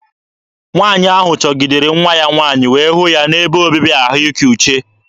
Nwaanyị ahụ chọgidere nwa ya nwaanyị wee hụ ya n'ebe obibi ahụike uche.